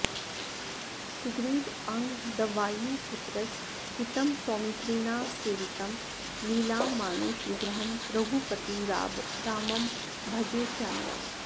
सुग्रीवाङ्गदवायुपुत्रसहितं सौमित्रिणा सेवितं लीलामानुषविग्रहं रघुपतिं रामं भजे श्यामलम्